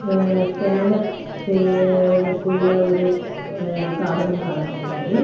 ஆ scanner செய்றதுக்குள்ள ஒரு சாதனம் காணப்படுகிறது.